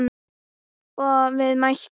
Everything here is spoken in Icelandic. Og við mættum.